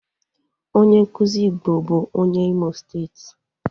Onye nkuzi Igbo bu onye Imo steeti.